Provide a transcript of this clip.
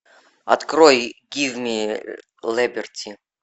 открой гив ми либерти